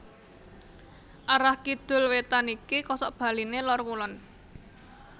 Arah kidul wétan iki kosokbaliné Lor Kulon